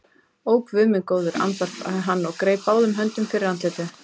Ó, Guð minn góður, andvarpaði hann og greip báðum höndum fyrir andlitið.